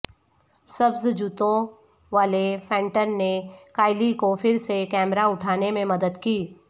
سبز جوتوں والے فینٹن نے کائلی کو پھر سے کیمرہ اٹھانے میں مدد کی